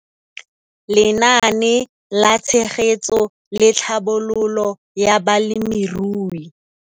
Lenaane la Tshegetso le Tlhabololo ya Balemirui.